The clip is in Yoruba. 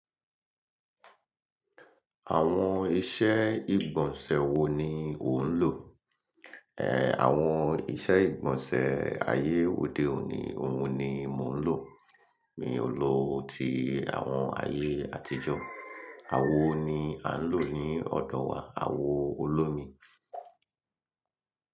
Àwọn ìṣe ìgbọ̀nsẹ̀ wo ni ò ń lò? Àwọn ìṣe ìgbọ̀nsẹ̀ ayé òde òní òun ni mò ń lò. Mi ò lò ti àwọn ayé àtijọ́. Àwo ni à ń lò ní ọ̀dọ̀ wa, àwo olómi.